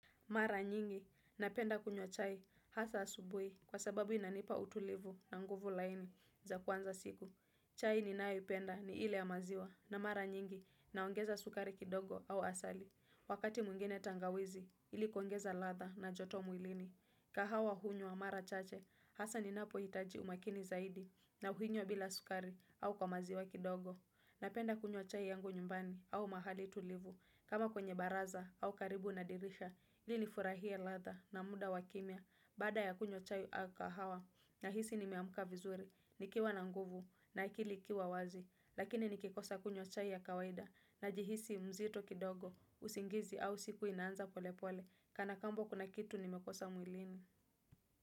Mara nyingi napenda kunywa chai hasa asubuhi kwa sababu inanipa utulivu na nguvu laini za kuanza siku. Chai ninayoipenda ni ile ya maziwa na mara nyingi naongeza sukari kidogo au asali. Wakati mwingine tangawizi ili kuongeza ladha na joto mwilini. Kahawa hunywa mara chache hasa ninapohitaji umakini zaidi na uhinywa bila sukari au kwa maziwa kidogo. Napenda kunywa chai yangu nyumbani au mahali tulivu, kama kwenye baraza au karibu na dirisha, ili nifurahie ladha na muda wakimya, baada ya kunywa chai au kahawa, nahisi nimeamuka vizuri, nikiwa na nguvu na akili ikiwa wazi, lakini nikikosa kunywa chai ya kawaida, najihisi mzito kidogo, usingizi au siku inaanza pole pole, kana kwamba kuna kitu nimekosa mwilini.